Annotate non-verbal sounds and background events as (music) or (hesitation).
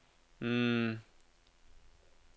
(hesitation)